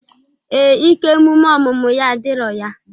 Ee, ike emume ọmụmụ ya adirọ ya.